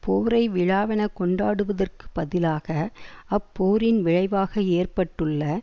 போரை விழாவெனக் கொண்டாடுவதற்கு பதிலாக அப்போரின் விளைவாக ஏற்பட்டுள்ள